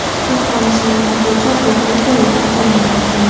Tehron ismli futbolchi voqea joyida olamdan o‘tgan.